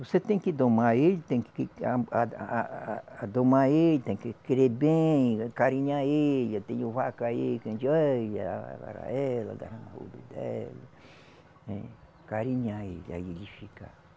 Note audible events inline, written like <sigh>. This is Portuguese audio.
Você tem que domar ele, tem que que a ada a a a a adormar ele, tem que querer bem, carinhar ele, tenho vaca aí que a gente. <unintelligible> Né, acarinhar ele, aí ele fica